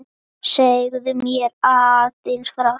Segðu mér aðeins frá því?